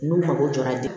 N'u mago jɔra de